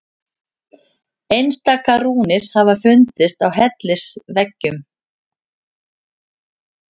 Einstaka rúnir hafa fundist á hellisveggjum.